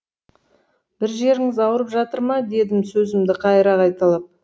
бір жеріңіз ауырып жатыр ма дедім сөзімді қайыра қайталап